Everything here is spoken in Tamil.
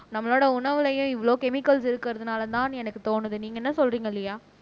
நம்மளோட உணவுலயும் இவ்வளவு கெமிக்கல்ஸ் இருக்கறதுனாலதான்னு எனக்கு தோணுது நீங்க என்ன சொல்றீங்க லியா